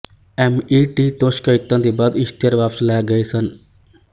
MET ਤੋਂ ਸ਼ਿਕਾਇਤਾਂ ਦੇ ਬਾਅਦ ਇਸ਼ਤਿਹਾਰ ਵਾਪਸ ਲੈ ਲਏ ਗਏ ਸਨ